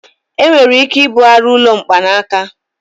Enwere ike ibugharị ụlọ mkpanaka.